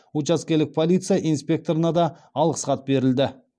учаскелік полиция инспекторына да алғыс хат берілді